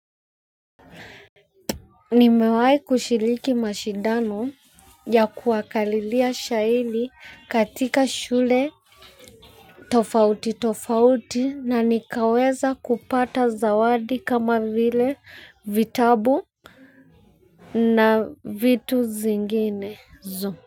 Nimewahi kushiriki mashindano ya kuwakariria shairi katika shule tofauti tofauti na nikaweza kupata zawadi kama vile vitabu na vitu zingine zu.